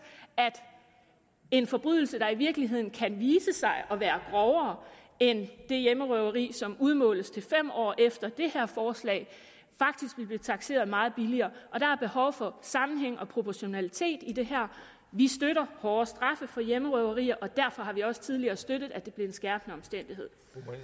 at en forbrydelse der i virkeligheden kan vise sig at være grovere end et hjemmerøveri som udmåles til fem år efter det her forslag faktisk vil blive takseret meget billigere der er behov for sammenhæng og proportionalitet i det her vi støtter hårdere straffe for hjemmerøverier og derfor har vi også tidligere støttet at det blev en skærpende omstændighed